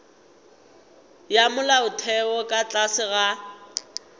ya molaotheo ka tlase ga